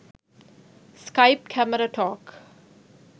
skype camera talk